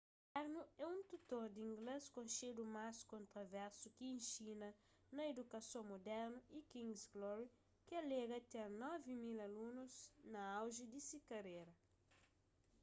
karno é un tutor di inglês konxedu mas kontroversu ki inxina na idukason mudernu y king's glory ki alega ten 9.000 alunus na auji di se karera